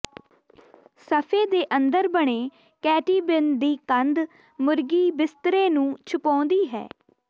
ਸਫੇ ਦੇ ਅੰਦਰ ਬਣੇ ਕੈਟੀਬਿਨ ਦੀ ਕੰਧ ਮੁਰਗੀ ਬਿਸਤਰੇ ਨੂੰ ਛੁਪਾਉਂਦੀ ਹੈ